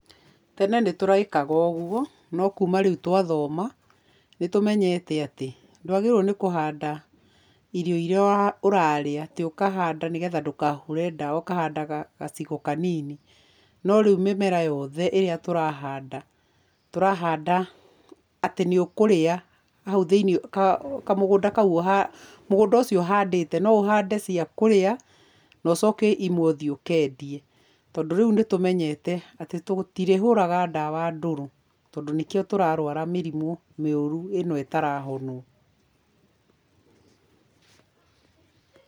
Tene nĩ tũrekaga ũguo, no kuma rĩu twathoma, nĩ tũmenyete atĩ, ndwagĩrĩirwo nĩ kũhanda irio iria urarĩa, atĩ ũkahanda nĩgetha ndũkahũre dawa, ũkahandaga gacigo kanini, no rĩu mĩmera yothe ĩrĩa tũrahanda, tũrahanda atĩ nĩ ũkũria, na haũ thĩ-inĩ kamugũnda kau mũgũnda ũcio ũhandĩte, no ũhande cia kũrĩa, na ũcoke imwe ũthiĩ ũkendie, tondũ rĩu nĩ tũmenyete, atĩ tũtirĩhũraga dawa ndũrũ tondũ nĩkío tũrarwara mĩrimũ mĩũru, ĩno ĩtarahonwo